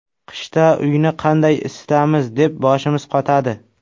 Qishda uyni qanday isitamiz deb boshimiz qotadi.